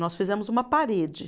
Nós fizemos uma parede.